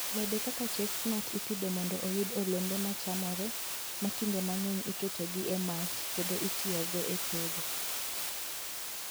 Alode kaka chestnut ipidho mondo oyud olembe ma chamore, ma kinde mang'eny iketogi e mach kendo itiyogo e tedo.